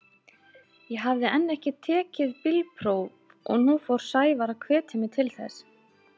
Ég hafði enn ekki tekið bílpróf og nú fór Sævar að hvetja mig til þess.